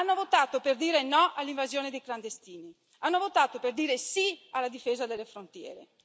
Hanno votato per dire no all'invasione di clandestini, hanno votato per dire sì alla difesa delle frontiere.